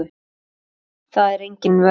Það er engin vörn.